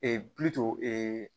pi